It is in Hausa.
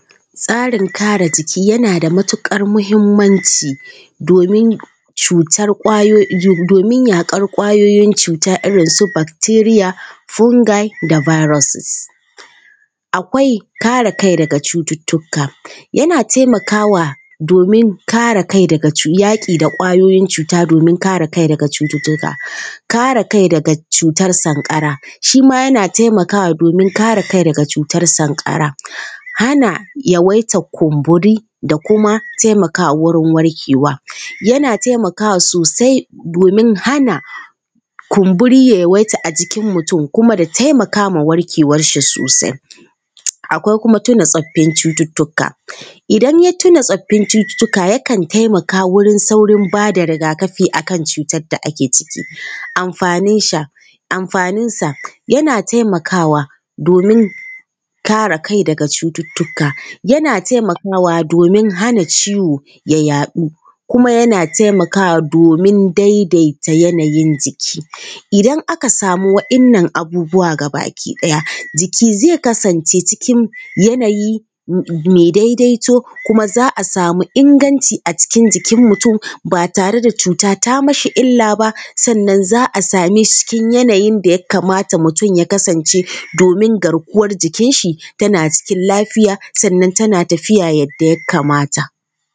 Tsarin kare jiki yana da matuƙar muhimmanci domin yaƙar ƙwayoyin cuta irin su bacteria, fungi da viruses. Akwai kare kai daga cututtuka:- yana taimakawa domin kare kai daga yaƙi da ƙwayoyin cuta domin kare kai daga cututtuka. kare kai daga cutar sankara:- shi ma yana taimakawa don kare kai daga cutar sankara. Hana yawaitar kumburi da kuma taimakwa wurin warkewa:- yana taimakwa sosai domin hana kumburi ya yi yawaita a jikin mutum kuma ya taimaka ma warkewarshi sosai. Akwai kuma tuna tsoffin cututtuka:- idan ya tuna tsoffin cututtuka, yakan taimaka wurin saurin ba da riga-kafi a kan cutar da ake ciki. Amfaninsa:- yana taimakwa domin Amfaninsa:- yana taimakwa domin kare kai daga cututtuka. Yana ttaimakawa domin hana ciwo ya yaɗu kuma yana taimakwa domin daidaita yanayin jiki. idan aka samu waɗannan abubuwa gabaki ɗaya, jiki zai kasance cikin yanayi mai daidaito kuma za a samu inganci a cikin jikin mutum, ba tare da cuta ta mashi illa ba, sannan za a same shi cikin yanayin da ya kamata mutum ya kasance domin garkuwar jikinshi tana cikin lafiya sannan tana tafiya yadda ya kamata.